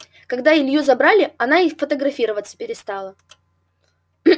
когда илью забрали она и фотографироваться перестала